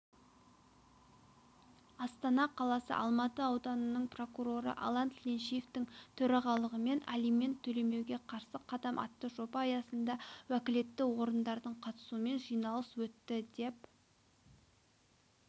астана қаласы алматы ауданының прокуроры алан тіленшиевтің төрағалығымен алимент төлемеуге қарсы қадам атты жоба аясында уәкілетті органдардың қатысумен жиналыс өтті деп